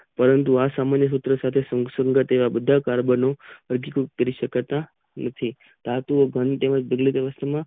જો આ સામાન્ય સૂત્રો સાથે સંગઠીય બધા કાર્બનો રજુ કરી સકાતા નથી ધાતુ ઓ ઘન તેમજ દિલ વ્યવસ્થા માં વિદ્યુત નું વહન કરે છે ધાતુ ઓ ની વાહકતા પ્રતિ પરમાણુ ઓ સંયોજકતા ઇલેક્ટ્રોન.